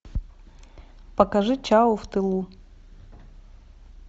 покажи чау в тылу